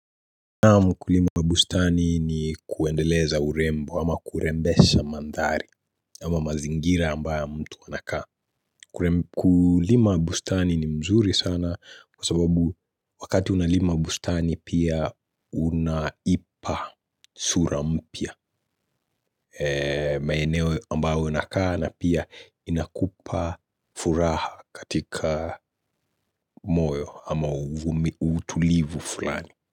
Naam ukulima wa bustani ni kuendeleza urembo ama kurembesha mandhari ama mazingira ambayo mtu anakaa. Kulima bustani ni mzuri sana kwa sababu wakati unalima bustani pia unaipa sura mpya. Maeneo ambayo unakaa na pia inakupa furaha katika moyo ama utulivu fulani.